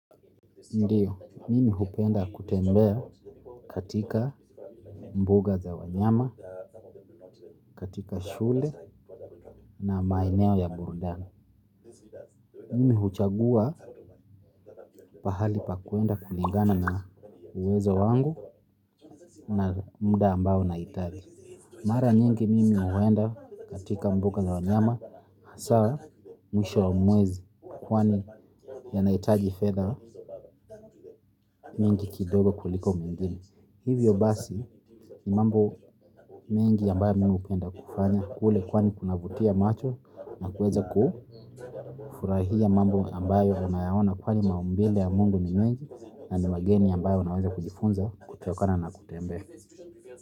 Ndiyo, mimi hupenda kutembea katika mbuga za wanyama, katika shule na maeneo ya burudani. Mimi huchagua pahali pakwenda kulingana na uwezo wangu na muda ambao nahitaji. Mara nyingi mimi huenda katika mbuga za wanyama, hasa mwisho wa mwezi kwani yanahitaji fedha nyingi kidogo kuliko mengine. Hivyo basi ni mambo mengi ambayo mimi hupenda kufanya. Kule kwani kunavutia macho na kuweza kufurahia mambo ambayo unaona kwani maumbile ya Mungu ni mengi. Na ni mageni ambayo unaweza kujifunza kutukana na kutembea.